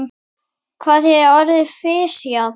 Hvað þýðir orðið fisjað?